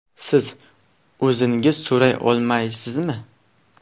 Siz o‘zingiz so‘ray olmaysizmi?